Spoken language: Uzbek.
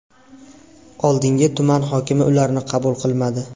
Oldiniga tuman hokimi ularni qabul qilmadi.